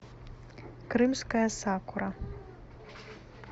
крымская сакура